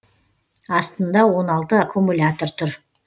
астында он алты аккумулятор тұр